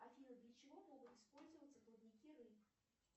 афина для чего могут использоваться плавники рыб